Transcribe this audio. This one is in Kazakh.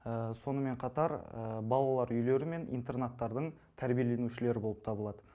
сонымен қатар балалар үйлері мен интернаттардың тәрбиеленушілері болып табылады